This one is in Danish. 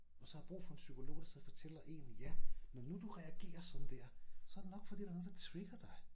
Og så har brug for en psykolog der sidder og fortæller én ja når nu du reagerer sådan der så det nok fordi der er noget der trigger dig